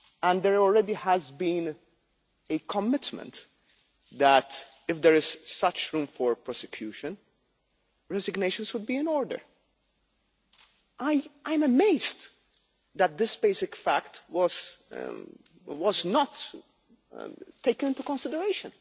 There already has been a commitment that, if there is such room for prosecution, resignations would be in order. I am amazed that this basic fact was not taken into consideration.